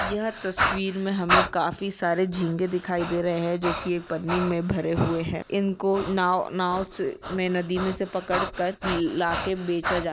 यह तस्वीर में हमे काफी सारे झींगे दिखाई दे रही है जो की एक पन्नी में भरे हुए ह इन को नाव नाव से में नदी में से पकड़ कर लाके बेचा जा--